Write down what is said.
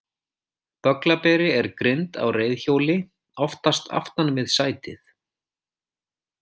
Bögglaberi er grind á reiðhjóli, oftast aftan við sætið.